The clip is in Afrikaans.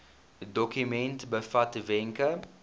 dokument bevat wenke